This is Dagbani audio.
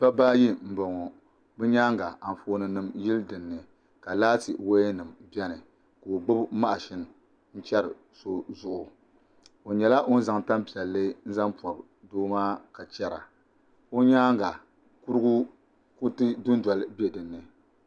Dabba ayi n boŋo bi nyaanga Anfooni nim yili dinni ka laati woya nim biɛni ka o gbubi mashin n chɛri so zuɣu o nyɛla ŋun zaŋ tanpiɛlli n zaŋ pobi doo maa ka chɛra o nyaanga kuriti dundoli bɛ dinni